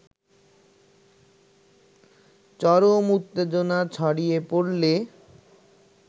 চরম উত্তেজনা ছড়িয়ে পড়লে